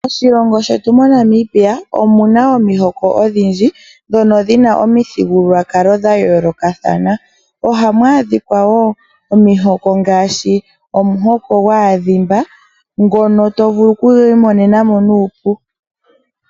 Moshilongo shetu moNamibia omu na omihoko odhindji ndhono dhi na omithigululwakalo dha yoolokathana. Oha mu adhika wo omihoko ngaashi omuhoko gwaadhimba ngono to vulu okugwiimonenamo nuupu.